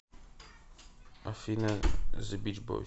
афина зе бич бойс